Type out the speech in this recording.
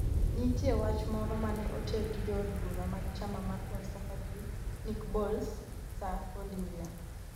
nitie wach moro mane oter gi jood bura mag chama mar Conservative Nick Boles, Sir Oliver